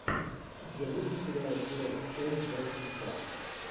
у тебя будет сериал флэш часть двадцать два